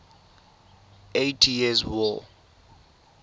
eighty years war